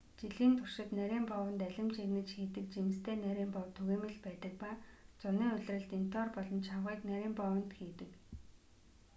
жилийн туршид нарийн боовонд алим жигнэж хийдэг жимстэй нарийн боов түгээмэл байдаг ба зуны улиралд интоор болон чавгыг нарийн боовонд хийдэг